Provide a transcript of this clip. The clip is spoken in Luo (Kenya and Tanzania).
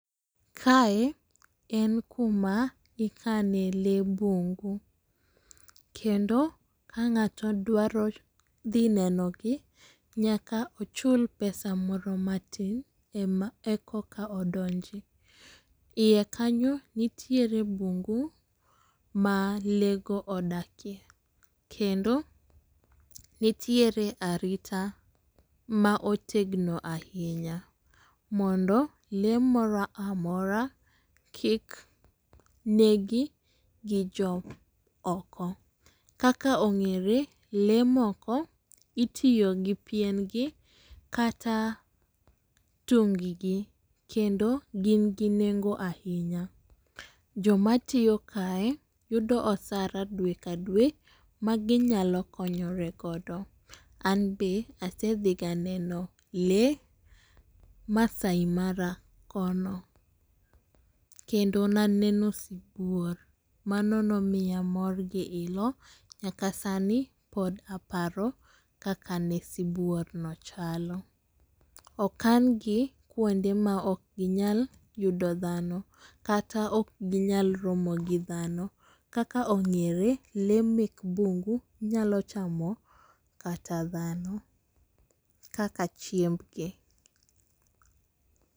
Kae en kuma ikane lee bungu, kendo ka ngato dwaro dhi neno gi nyaka uchul pesa moro ma tin e koka u odonji .Iye nitiere bungu ma lee go odake kendo nitiere arita ma otegno ainya mondo lee moro amora kik negi gi jo moko. Kaka ongere lee moko itiyo gi pien gi kata tung gi kendo gin gi nengo ainya. Jok ma tiyo kae yudo osara dwe ka dwe ma gi nyalo konyore go. An be asedhiga neno lee massai mara kono, kendo ne aneno sibuor, mano ne omiya mor gi ilo nyaka sani pod aparo kaka ne sibuor no chalo. Okan gi kuonde ma ok gi nyal yudo dhano kata ma ok gi nyal romo gi dhano. Kaka ongere lee mek bungu gi nyalo chamo kata dhano kaka chiemb gi.